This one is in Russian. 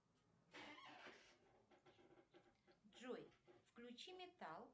джой включи металл